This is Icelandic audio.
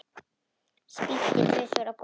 Spýti tvisvar á gólfið.